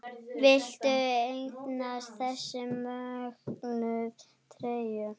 Viltu eignast þessa mögnuðu treyju?